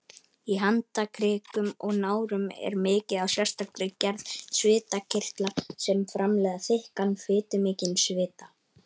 Í handarkrikum og nárum er mikið af sérstakri gerð svitakirtla sem framleiða þykkan, fitumikinn svita.